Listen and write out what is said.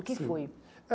O que foi?